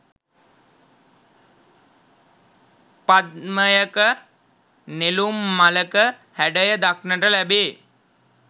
පද්මයක නෙළුම් මලක හැඩය දක්නට ලැබේ.